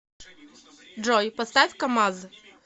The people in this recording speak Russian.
джой поставь камаз